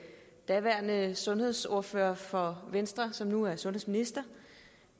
daværende sundhedsordfører for venstre som nu er sundhedsminister